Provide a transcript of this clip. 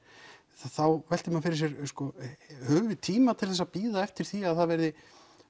þá veltir maður fyrir sér höfum við tíma til þess að bíða eftir því að það verði